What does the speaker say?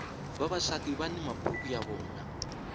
vavasati vani maburuku ya vona